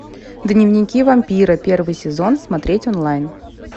дневники вампира первый сезон смотреть онлайн